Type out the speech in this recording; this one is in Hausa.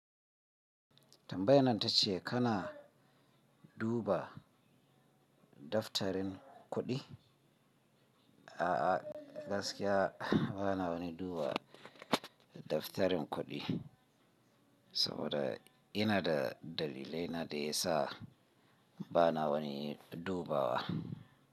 Tambayan nan tace kana duba daftarin kuɗi? A'a gaskiya bana wani duba daftarin kuɗi, saboda ina da dalilai na da ya sa bana wani dubawa.